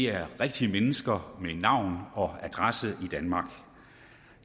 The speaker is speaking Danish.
er rigtige mennesker med navn og adresse i danmark